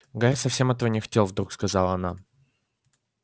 гарри совсем этого не хотел вдруг сказала она